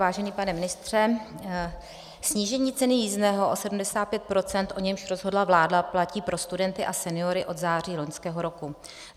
Vážený pane ministře, snížení ceny jízdného o 75 %, o němž rozhodla vláda, platí pro studenty a seniory od září loňského roku.